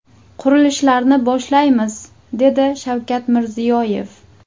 Qurilishlarni boshlaymiz”, dedi Shavkat Mirziyoyev.